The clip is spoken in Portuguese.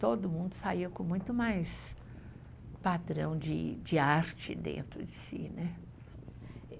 Todo mundo saía com muito mais padrão de arte dentro de si. Né?